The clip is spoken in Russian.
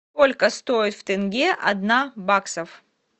сколько стоит в тенге одна баксов